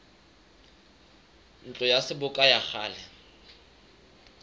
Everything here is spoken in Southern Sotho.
ntlo ya seboka ya kgale